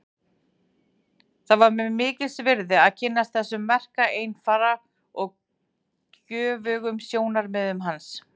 Það var mér mikils virði að kynnast þessum merka einfara og göfugum sjónarmiðum hans.